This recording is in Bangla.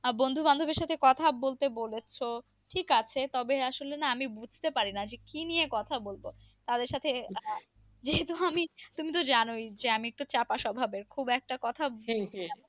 আহ বন্ধু বান্ধবীর সাথে কথা বলতে বলেছ। ঠিক আছে তবে আসলে না আমি বুঝতে পারিনা যে কি নিয়ে কথা বলব। কারো সাথে আহ যেহেতু আমি তুমি তো জানোই যে আমি একটু চাপা স্বভাবের। খুব একটা কথা